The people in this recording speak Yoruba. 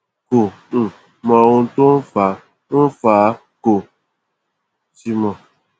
kò um mọ ohun tó ń fà ń fà á kò sì mọ